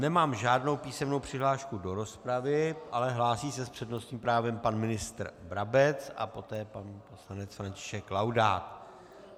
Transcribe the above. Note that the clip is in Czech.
Nemám žádnou písemnou přihlášku do rozpravy, ale hlásí se s přednostním právem pan ministr Brabec a poté pan poslanec František Laudát.